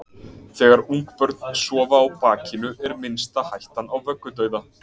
Þegar ungbörn sofa á bakinu er minnsta hættan á vöggudauða.